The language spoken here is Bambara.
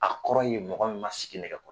A kɔrɔ ye mɔgɔ mɔgɔ ma sigi nɛgɛ kɔrɔ